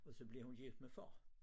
Og så bliver hun gift med far